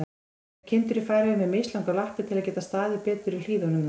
Eru kindur í Færeyjum með mislangar lappir, til að geta staðið betur í hlíðunum þar?